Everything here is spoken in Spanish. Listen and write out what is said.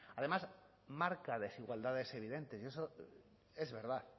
además marca desigualdades evidentes y eso es verdad